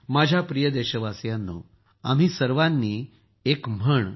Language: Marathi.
माझ्या प्रिय देशवासियांनो आम्ही सर्वांनी एक म्हण अनेकदा ऐकली असेल